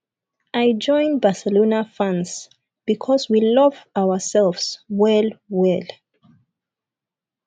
i join barcelona fans because we love ourselves well well